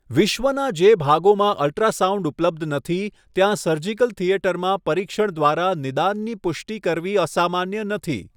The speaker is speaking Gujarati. વિશ્વનાં જે ભાગોમાં અલ્ટ્રાસાઉન્ડ ઉપલબ્ધ નથી, ત્યાં સર્જિકલ થિયેટરમાં પરીક્ષણ દ્વારા નિદાનની પુષ્ટિ કરવી અસામાન્ય નથી.